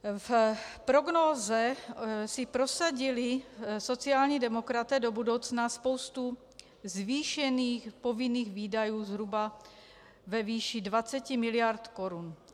V prognóze si prosadili sociální demokraté do budoucna spoustu zvýšených povinných výdajů zhruba ve výši 20 mil. korun.